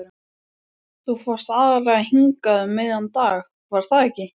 Þú fórst aðallega hingað um miðjan dag, var það ekki?